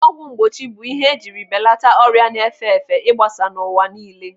Ọgwụ mgbochi bụ ihe ejiri belata ọrịa na-efe efe igbasa n'ụwa niile.